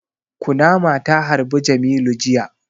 Kunama ta harbi jamilu jiya